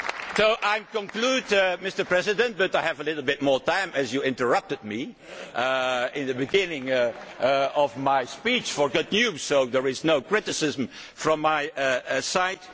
the future. So I conclude, Mr President, but I have a little more time as you interrupted me in the beginning of my speech with good news, so there is no criticism from